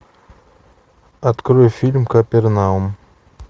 открой фильм капернаум